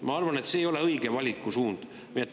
Ma arvan, et see ei ole õige valikusuund.